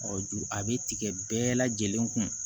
juru a bɛ tigɛ bɛɛ lajɛlen kun